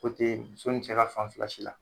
Ko te muso ni cɛ ka fan fila si la.